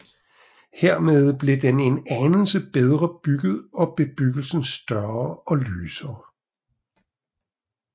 Hermed blev den en anelse bedre bygget og bebyggelsen større og lysere